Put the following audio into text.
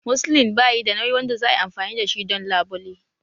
Muslin bayi da nauyi wanda za a yi amfani da shi don labule